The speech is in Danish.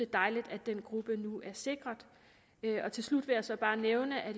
dejligt at den gruppe nu er sikret til slut vil jeg så bare nævne at